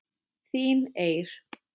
Þín Eir.